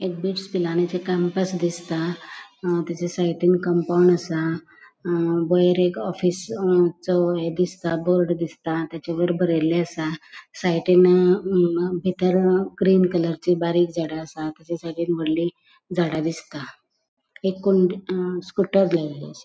एक बिट्स पिलानीचे कॅम्पस दिसता अ तेचा साइडीन कम्पाउन्ड असा अ वयर एक ऑफिस चो ये दिसता बोर्ड दिसता तेचा वयर बरेले असा साइडीन अ बितर ग्रीन कलरची बारीक झाडा असात तेचा साइडीन वोडली झाडा दिसता एक कोणे अ स्कूटर लायले असा.